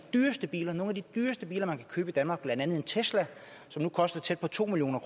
dyreste biler man kan købe i danmark blandt andet en tesla som nu koster tæt på to million